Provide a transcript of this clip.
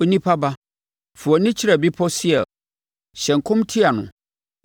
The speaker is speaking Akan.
“Onipa ba, fa wʼani kyerɛ Bepɔ Seir; hyɛ nkɔm tia no